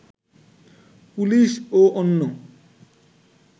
police ও অন্য